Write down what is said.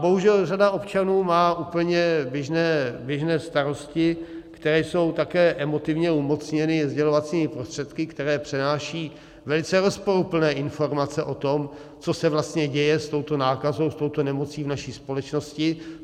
Bohužel řada občanů má úplně běžné starosti, které jsou také emotivně umocněny sdělovacími prostředky, které přinášejí velice rozporuplné informace o tom, co se vlastně děje s touto nákazou, s touto nemocí, v naší společnosti.